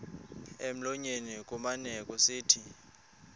emlonyeni kumane kusithi